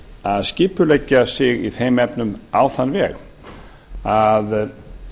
að skipuleggja sig í þeim efnum á þann veg að